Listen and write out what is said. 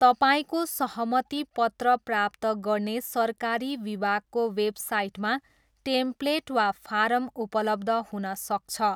तपाईँको सहमति पत्र प्राप्त गर्ने सरकारी विभागको वेबसाइटमा टेम्प्लेट वा फारम उपलब्ध हुन सक्छ।